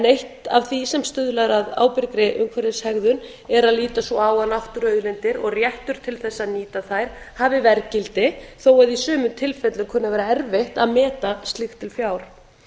eitt af því sem stuðlar að ábyrgri umhverfishegðun er að líta svo á að náttúruauðlindir og réttur til þess að nýta þær hafi verðgildi þó að í sumum tilfellum kunni að vera erfitt að meta slíkt til fjár